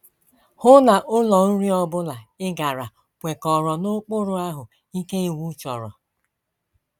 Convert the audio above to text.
Hụ na ụlọ nri ọ bụla ị gara kwekọrọ n’ụkpụrụ ahụ́ ike iwu chọrọ.